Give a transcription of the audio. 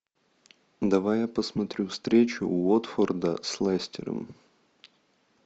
давай я посмотрю встречу уотфорда с лестером